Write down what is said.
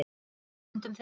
Allt lék í höndum þeirra.